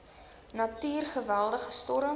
natuur geweldige storms